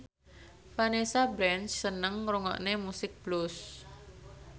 Vanessa Branch seneng ngrungokne musik blues